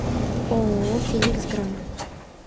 ооо феникс гран